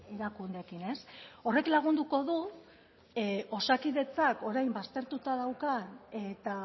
erakundeekin ez horrek lagunduko du osakidetzak orain baztertuta daukan eta